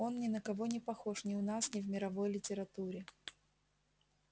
он ни на кого не похож ни у нас ни в мировой литературе